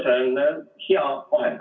See on hea vahend.